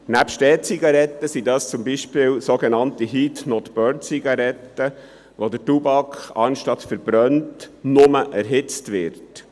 Neben den E-Zigaretten handelt es sich dabei um sogenannte Heat-not-burn-Zigaretten, wobei der Tabak nicht verbrannt, sondern nur erhitzt wird.